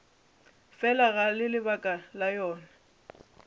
fela ga lebaka la yona